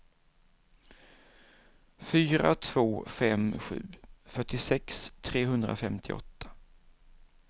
fyra två fem sju fyrtiosex trehundrafemtioåtta